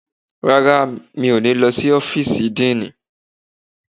Rárá, mi ò ní lọ sí ọ́fíìsì díìnì.